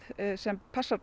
sem passar